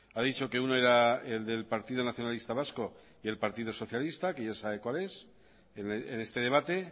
ha dicho que uno era el del partido nacionalista vasco y el partido socialista que ya sabe cuál es en este debate